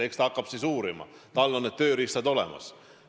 Eks ta hakkab uurima, tal on selleks tööriistad olemas.